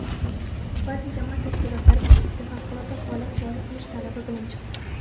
Ba’zi jamoat tashkilotlari Bishkekda favqulodda holat joriy qilish talabi bilan chiqdi.